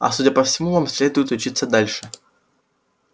а судя по всему вам следует учиться дальше